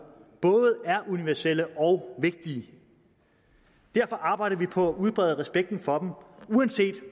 både er universelle og vigtige derfor arbejder vi på at udbrede respekten for dem uanset